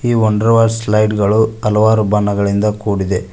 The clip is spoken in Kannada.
ಈ ವಂಡರ್ವಾ ಸ್ಲೈಡ್ಗಳು ಹಲಾವರು ಬಣ್ಣಗಳಿಂದ ಕೂಡಿದೆ.